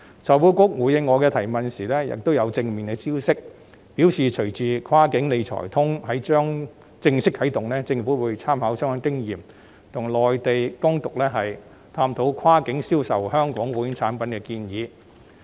財庫局回應我的質詢時亦有正面消息，表示隨着"跨境理財通"即將正式啟動，政府會參考相關經驗，與內地當局探討跨境銷售香港保險產品的建議。